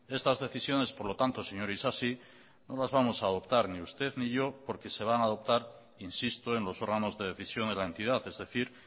estas decisiones por lo tanto señor isasi no los vamos a adoptar ni usted ni yo porque se van a adoptar insisto en los órganos de decisión de la entidad es decir